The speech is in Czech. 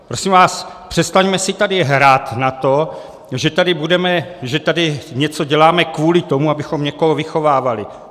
Prosím vás, přestaňme si tady hrát na to, že tady něco děláme kvůli tomu, abychom někoho vychovávali.